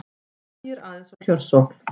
Hægir aðeins á kjörsókn